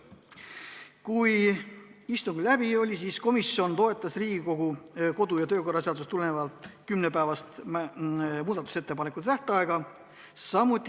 Kui istung läbi oli, siis komisjon toetas Riigikogu kodu- ja töökorra seadusest tulenevalt kümne päeva pikkust muudatusettepanekute tähtaega.